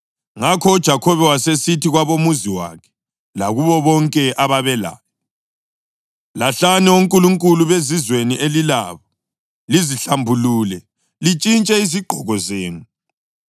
Ngakho uJakhobe wasesithi kwabomuzi wakhe lakubo bonke ababelaye, “Lahlani onkulunkulu bezizweni elilabo, lizihlambulule, lintshintshe lezigqoko zenu.